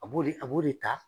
A b'o de ,a b'o de ta